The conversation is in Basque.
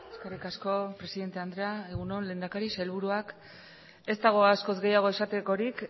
eskerrik asko presidente andrea egun on lehendakari sailburuak ez dago askoz gehiago esatekorik